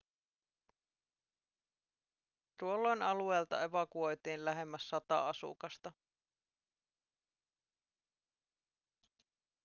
tuolloin alueelta evakuoitiin lähemmäs sata asukasta